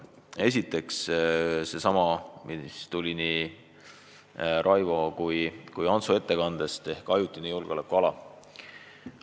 Esiteks seesama teema, mis kõlas nii Raivo kui Antsu ettekandes: ajutine julgeolekuala.